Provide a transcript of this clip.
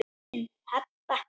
Þín, Heba.